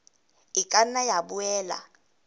e ka nna ya boela